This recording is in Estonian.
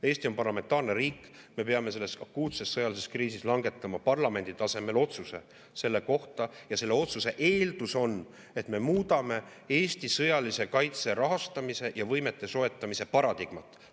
Eesti on parlamentaarne riik, me peame selles akuutses sõjalises kriisis langetama parlamendi tasemel otsuse selle kohta ja selle otsuse eeldus on, et me muudame Eesti sõjalise kaitse rahastamise ja võimete soetamise paradigmat.